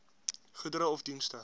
goedere of dienste